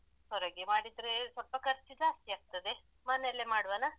ಹೊರಗೆ ಮಾಡಿದ್ರೆ ಸ್ವಲ್ಪ ಖರ್ಚ್ ಜಾಸ್ತಿ ಆಗ್ತದೆ ಮನೆಯಲ್ಲೆ ಮಾಡುವನ?